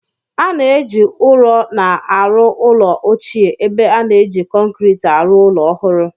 A na-eji ụrọ na-arụ ụlọ ochie ebe a na-eji kọnkirịtị arụ ụlọ ọhụrụ